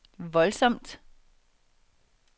voldsomt